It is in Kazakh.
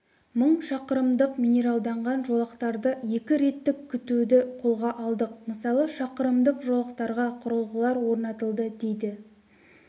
мың шақырымдық минералданған жолақтарды екі реттік күтуді қолға алдық мысалы шақырымдық жолақтарға құрылғылар орнатылды дейді